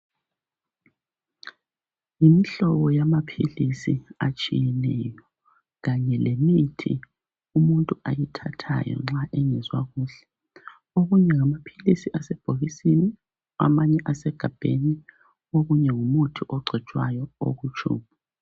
Yimihlobo yamaphilisi atshiyeneyo kanye lemithi umuntu ayithathayo nxa engezwa kuhle. Okunye ngamaphilisi asebhokisini amanye asegabheni ,okunye ngumuthi ogcotshwayo oku tshubhu.